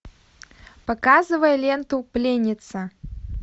показывай ленту пленница